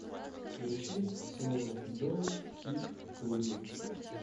включи соло доло кид куди